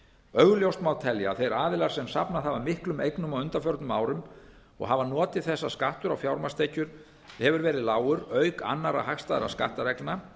augljóst má telja að þeir aðilar sem safnað hafa miklum eignum á undanförnum árum og hafa notið þess að skattar á fjármagnstekjur hafa verið lágir auk annarra hagstæðra skattareglna